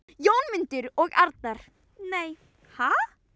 Jónmundur og Arnar: Nei, ha??